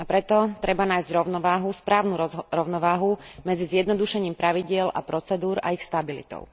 A preto treba nájsť rovnováhu, správnu rovnováhu medzi zjednodušením pravidiel a procedúr a ich stabilitou.